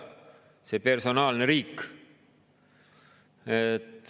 – see personaalne riik.